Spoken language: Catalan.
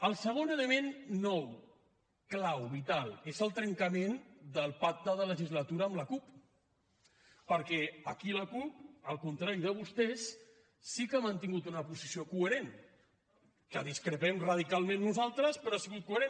el segon element nou clau vital és el trencament del pacte de legislatura amb la cup perquè aquí la cup al contrari de vostès sí que ha mantingut una posició coherent amb la qual discrepem radicalment nosaltres però ha sigut coherent